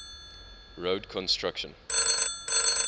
road construction